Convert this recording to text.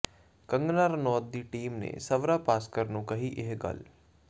ਕੰਗਨਾ ਰਣੌਤ ਦੀ ਟੀਮ ਨੇ ਸਵਰਾ ਭਾਸਕਰ ਨੂੰ ਕਹੀ ਇਹ ਗੱਲ